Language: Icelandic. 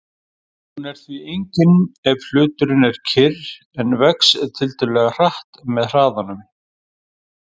Hún er því engin ef hluturinn er kyrr en vex tiltölulega hratt með hraðanum.